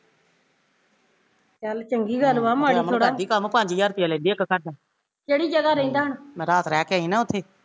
ਚੱਲ ਚੰਗੀ ਗੱਲ ਵਾ ਮਾੜੀ ਥੋੜਾ ਕਿਹੜੀ ਜਗਾ ਰਹਿੰਦਾ ਹੁਣ